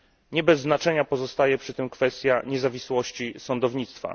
Nie bez znaczenia pozostaje przy tym kwestia niezawisłości sądownictwa.